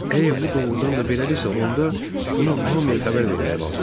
Əgər bu doğrudan da belədirsə, onda bunu hamıya xəbər vermək lazımdır.